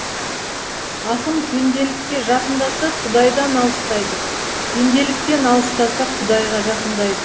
ақын пенделікке жақындаса құдайдан алыстайды пенделіктен алыстаса құдайға жақындайды